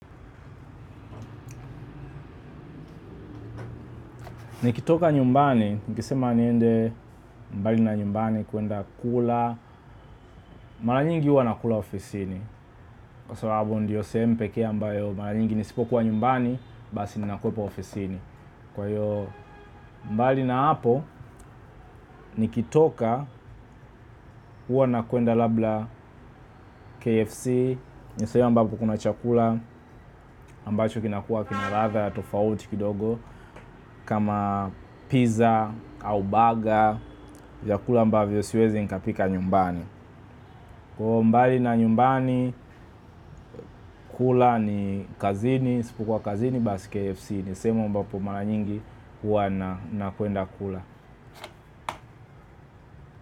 Nikitoka nyumbani, nikisema niende mbali na nyumbani kuenda kula, mara nyingi huwa nakula ofisini. Kwa sababu ndiyo sehemu pekee ambayo mara nyingi nisipokuwa nyumbani, basi ninakuwepo ofisini. Kwa hiyo mbali na hapo, nikitoka huwa nakuenda labda KFC, nisehemu ambapo kuna chakula, ambacho kinakua kina ladha ya tofauti kidogo, kama pizza au baga, vyakula ambavyo siwezi nikapika nyumbani. Kwa mbali na nyumbani, kula ni kazini, isipokuwa kazini basi KFC, nisehemu ambapo mara nyingi huwa nakwenda kula.